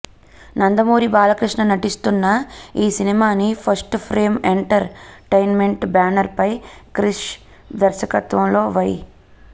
నందమూరి బాలకృష్ణ నటిస్తున్న ఈ సినిమాని first frame entertainment banner పై క్రిష్ దర్శకత్వంలో వై